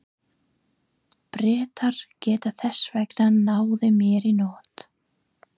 Bretar geta þess vegna náð mér í nótt.